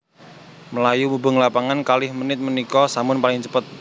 Mlayu mubeng lapangan kalih menit menika sampun paling cepet